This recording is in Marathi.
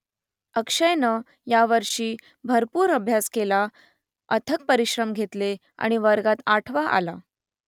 अक्षयनं यावर्षी भरपूर अभ्यास केला अथक परिश्रम घेतले आणि वर्गात आठवा आला